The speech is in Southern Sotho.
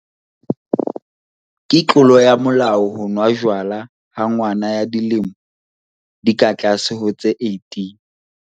Ke tlolo ya molao ho nwa jwala ha ngwana ya dilemo di ka tlase ho tse 18.